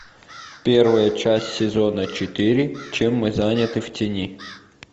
первая часть сезона четыре чем мы заняты в тени